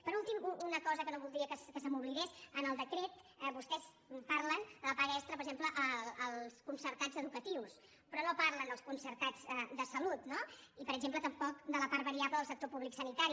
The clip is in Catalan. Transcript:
per últim una cosa que no voldria que se m’oblidés en el decret vostès parlen de la paga extra per exemple als concertats educatius però no parlen dels concertats de salut no i per exemple tampoc de la part varia·ble de sector públic sanitari